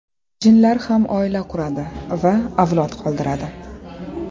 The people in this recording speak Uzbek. Jinlar ham oila quradi va avlod qoldiradi.